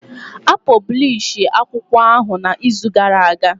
A pọblishi akwụkwọ ahụ na izu gara aga